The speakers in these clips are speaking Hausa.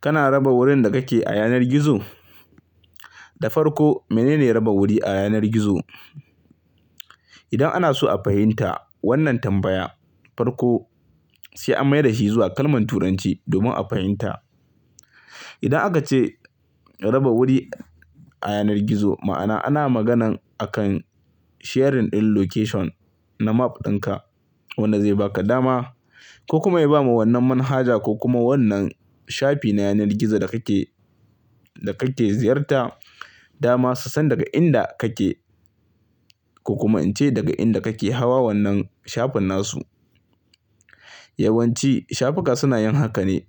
Kana raba wurin da kake a yanar gizo? Da farko, menene raba wuri a yanar gizo? Idan ana so a fahimta wannan tambaya, farko, sai an mai da shi zuwa kalman Turanci domin a fahimta. Idan aka ce raba wuri a yanar gizo, ma'ana ana magana akan sharing ɗin location na map ɗinka wanda zai baka dama ko kuma ya ba ma wannan manhaja ko kuma wannan shafi na yanar gizo da kake, da kake ziyarta dama su san daga inda kake ko kuma in ce daga inda kake hawa wannan shafin nasu. Yawan ci shafuka suna yin haka ne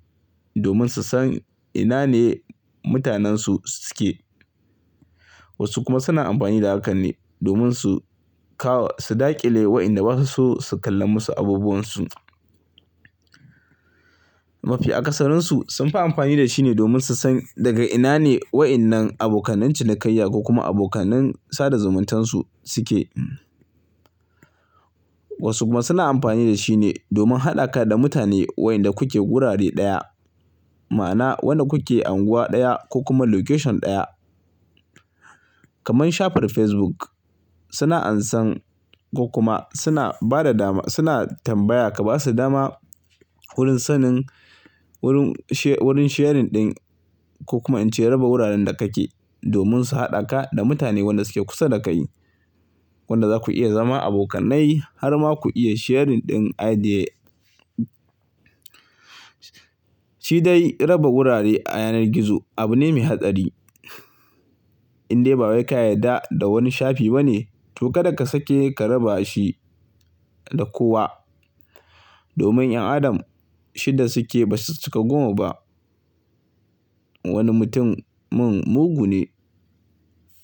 domin su san ina ne mutanensu suke. Wasu kuma suna amfani da harkan ne domin su kawo, su daƙile wa'inda ba su so su kallan musu abubuwan su. Mafi akasarin su sunfi amfani da shi ne domin su san daga ina ne wa'innan abokanin cinikayya ko kuma abokanin sada zumuntansu suke. Wasu kuma suna amfani da shi ne domin haɗa ka da mutane wa'inda kuke gurare ɗaya. Ma'ana wannan kuke unguwa ɗaya ko kuma location ɗaya. Kamar shafar Facebook, suna ansan ko kuma suna bada dama, suna tambaya ka basu dama, wurin sannin, wurin sharing din ko kuma in ce raba wurare da kake don su hadaka da mutane wanda suke kussa da kai. Wanda zaku iya zama abokanai har ma ku iya sharing din idea. Shi dai raba wurare a yanar gizo abu ne mai hadadi. In dai ba wai ka yarda da wanni shafi bane, toh karaka sakke ka rabashi, kadar kowa domin yan Adam shida suke basu cika goma ba. Wanni mutum mungu ne,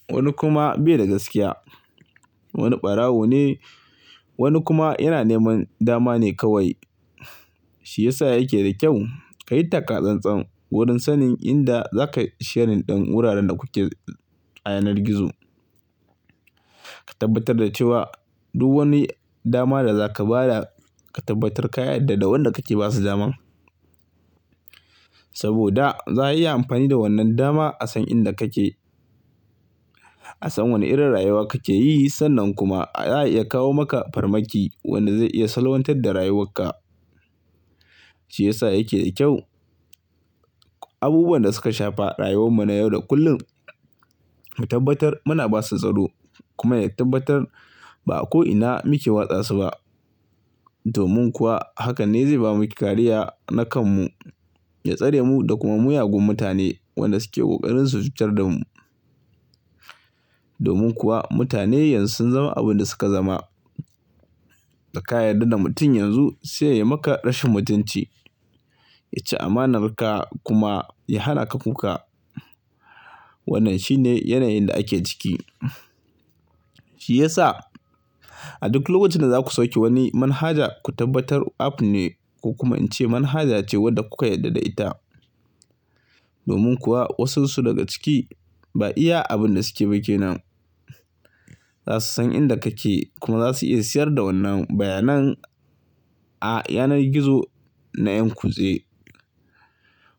wanni kuma bayi da gaskiya. Wani ɓarawo ne, wani kuma yana neman dama ne kawai. Shiyasa yake da kyau kayi takka tsan-tsan wurin sanni inda zaka sharing din wurare da kuke, a yanar gizo. Ka tabatar da cewa duk wanni dama da zaka bada ka tabatar ka yarda da wanda kake basu daman. Saboda za'a iya amfani da wannan dama a san inda kake, a san wanna irin rayuwa kake yi, sannan kuma za'a iya kawo ma farmaki wanda zai iya salwantadda rayuwarka. Shi ya sa yake da kyau Abubuwan da suka shafa rayuwarmu na yau da kullum, ya tabatar muna basu tsaro, kuma ya tabatar ba ko inna muke watsa su ba. Domin kuwa hakanne zai bamu kariya na kanmu, ya tsare mu daga kuma miyagun mutani da suke kokarin su cutar da mu. Domin kuwa mutane yanzu sun zama abin da suka zama. Da ka yarda da mutum yanzun sai ya maka rashin mutuncin, ya ci amanar ka kuma ya hannaka kukka. Wannan shine yanayin da ake ciki. Shiyasa a duk lokacin da zaku sauke wani manihaja ku tabatar naku ne ko kuma in ce manihaja ce wanda ku ka yarda da ita domin kuwa wansu su daga ciki ba iya abunda suke ba kenan. A san inda kake, kuma zasu iya siyar da wannan bayanin, a yanar gizo na en kuze,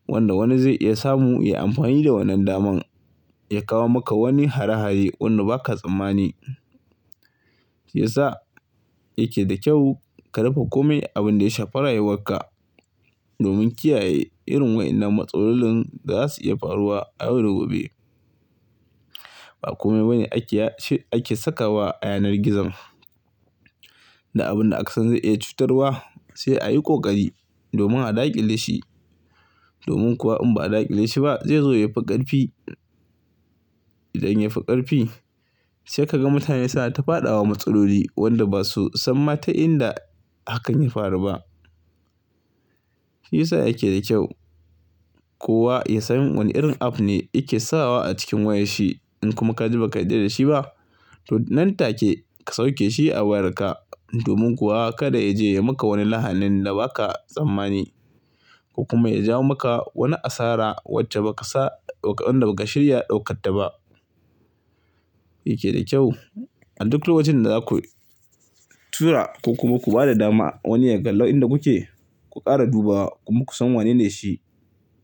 wanda wani zai iya samu ya amfani da wannan daman ya kawo maka harahaye wanda baka tsamani. Ya sa yake da kyau ka rufe komai abun da ya shafe rayuwarka domin kiyaye irin waen matsalolin da zasu iya faruwa a yau da gobe. Ba komai bane, ake ya, shi, a ke sakkawa a yanar gizo. Da abin da aka san zai iya cutarwa sai a yi ƙoƙari domin a daƙile shi. Domin kuwa in ba a daƙile shi ba zai zo ya fi ƙarfi. Idan yefi karfi, sai ka gan mutane su na ta fada matsaloli wanda ba su san maa ta inda hakan ya faru ba. Ya sa yake da kyau, kowa ya san wana irin app ne yake sawa a cikin wayarshi in kuma ka ji baka yarda dashi ba, nan take ka sauke shi a wayarka. Domin kuwa ka da ya je ya maka wani lahanin da baka tsamani ko kuma ya jawo maka wata asara wanda baka san, baka shirya daukar ta ba. Wanda ke da kyau a duk dun wajen da zaku, tura ko kuma ku bada dama wani ya kallo inda kuke, ku kara dubawa, kuma ku san wayene shi.